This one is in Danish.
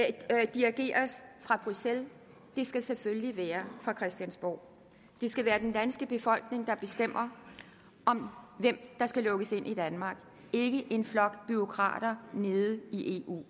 dirigeres fra bruxelles det skal selvfølgelig være fra christiansborg det skal være den danske befolkning der bestemmer hvem der skal lukkes ind i danmark ikke en flok bureaukrater nede i eu